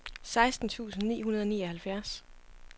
seksten tusind ni hundrede og nioghalvfjerds